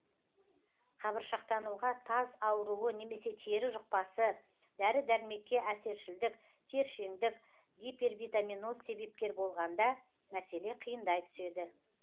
қабыршақтануға таз ауруы немесе тері жұқпасы дәрі дәрмекке әсершілдік тершеңдік гипервитаминоз себепкер болғанда мәселе қиындай түседі